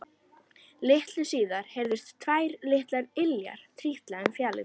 Litlu síðar heyrðust tvær litlar iljar trítla um fjalirnar.